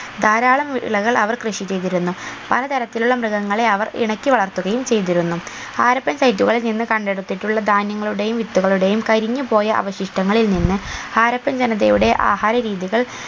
ധാരാളം വിളകൾ അവർ കൃഷി ചെയ്തിരുന്നു പലതരത്തിലുള്ള മൃഗങ്ങളെ അവർ ഇണക്കി വളർത്തുകയും ചെയ്തിരുന്നു ഹാരപ്പൻ site കളിൽ നിന്ന് കണ്ടെടുത്തിട്ടുള്ള ധാന്യങ്ങളുടെയും വിത്തുകളുടെയും കരിഞ്ഞുപോയ അവശിഷ്ടങ്ങളിൽ നിന്ന് ഹാരപ്പൻ ജനതയുടെ ആഹാര രീതികൾ